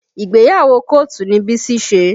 Ìgbéyàwó kọ́ọ̀tù ni Bísí ṣe